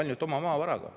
Ainult oma maavaraga.